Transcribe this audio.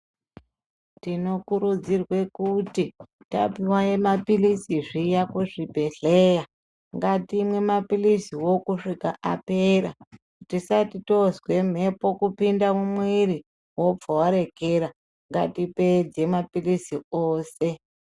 Tinokurudzirwa kuti tapuwa mapilizi zviya kuzvibhedhleya, ngatimwe mapiliziwo kusvika apera, tisati tozwe mhepo kupinda mumwiri, wobva warekera, ngatipedze mapilizi ose.